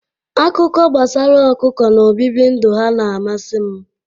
Akụkọ gbasara ọkụkọ na ọbibi ndụ ha na-amasị m.